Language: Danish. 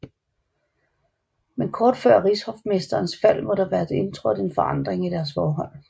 Men kort før rigshofmesterens fald må der være indtrådt en forandring i deres forhold